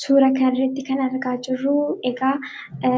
suura kanrratti kan argaachirruu eegaa